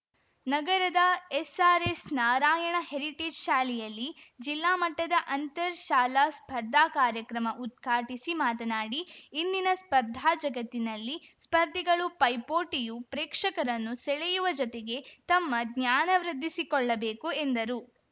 ನಗರದ SRS Narayana heritage ಶಾಲೆಯಲ್ಲಿ ಜಿಲ್ಲಾಮಟ್ಟದ ಅಂತರ್‌ ಶಾಲಾ ಸ್ಪರ್ಧಾ ಕಾರ್ಯಕ್ರಮ ಉದ್ಘಾಟಿಸಿ ಮಾತನಾಡಿ ಇಂದಿನ ಸ್ಪರ್ಧಾ ಜಗತ್ತಿನಲ್ಲಿ ಸ್ಪರ್ಧಿಗಳು ಪೈಪೋಟಿಯು ಪ್ರೇಕ್ಷಕರನ್ನು ಸೆಳೆಯುವ ಜೊತೆಗೆ ತಮ್ಮ ಜ್ಞಾನವೃದ್ಧಿಸಿಕೊಳ್ಳಬೇಕು ಎಂದರು